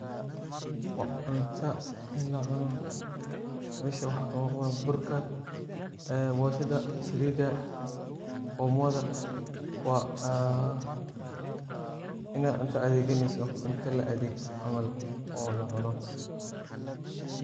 waa cunta ee lacuno, mesha waxa kamuqdo waa burka, ee boshada, saliida, omoda waa inad cunta adeegganeyso, cunta la adeeggo camal oo lacuno